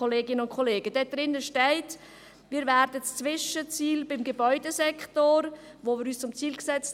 Darin ist zu lesen, dass wir das Zwischenziel beim Gebäudesektor um 10 Prozent verfehlen werden.